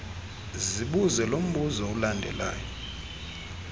zibuze lombuzo ulandelayo